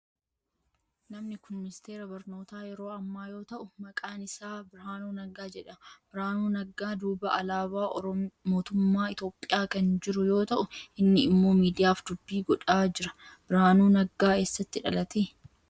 Namni kun ministeera barnootaa yeroo ammaa yoo ta'u maqaan isaa Birahaanuu Naggaa jedhama. Birahaanuu Naggaa duuba alaabaa mootumaaa Itiyoophiyaa kan jiru yoo ta'u inni immoo miidiyaaf dubbii godhaa jira. Birahaanuu Naggaa eessatti dhalate?